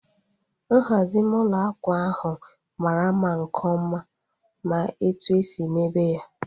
Nhazi ime ụlọ akwa ahu mara mma nke ọma ma etu esi mebe ya